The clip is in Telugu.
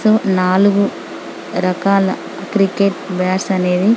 నాలుగు రకాల క్రికెట్ బ్యాట్స్ అనేవి --